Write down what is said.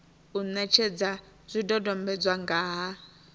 u netshedza zwidodombedzwa nga ha